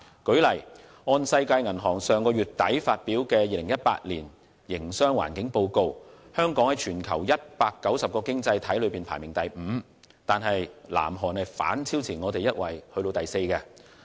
舉例說，根據世界銀行於上月底發表的《2018年營商環境報告》，香港在全球190個經濟體中排名第五，但南韓已反超香港排在第四位。